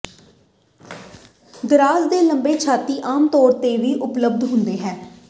ਦਰਾਜ਼ ਦੇ ਲੰਬੇ ਛਾਤੀ ਆਮ ਤੌਰ ਤੇ ਵੀ ਉਪਲਬਧ ਹੁੰਦੇ ਹਨ